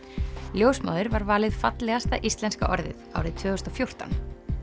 ljósmóðir var valið fallegasta íslenska orðið árið tvö þúsund og fjórtán